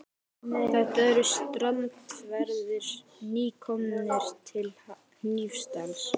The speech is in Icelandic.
Þetta eru strandverðir, nýkomnir til Hnífsdals.